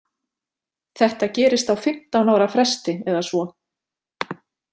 Þetta gerist á fimmtán ára fresti eða svo.